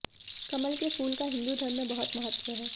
कमल के फूल का हिन्दू धर्म में बहुत महत्व है